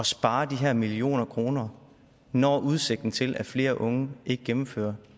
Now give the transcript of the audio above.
spare de her millioner kroner når udsigten til at flere unge ikke gennemfører